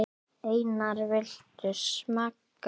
Einar, viltu smakka?